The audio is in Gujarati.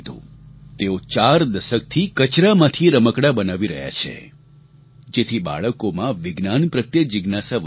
તેઓ ચાર દસકથી કચરામાંથી રમકડાં બનાવી રહ્યા છે જેથી બાળકોમાં વિજ્ઞાન પ્રત્યે જીજ્ઞાસા વધી શકે